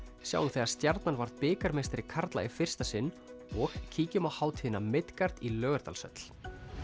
sjáum þegar Stjarnan varð bikarmeistari karla í fyrsta sinn og kíkjum á hátíðina í Laugardalshöll